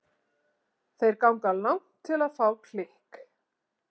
Þeir ganga langt til að fá klikk.